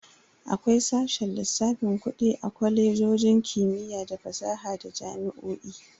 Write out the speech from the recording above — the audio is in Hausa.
Akwai sashen lissafin Kudi a Kwalejojin kimiyya da fasaha da jami'o'i.